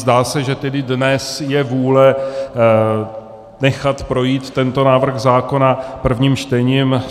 Zdá se, že tedy dnes je vůle nechat projít tento návrh zákona prvním čtením.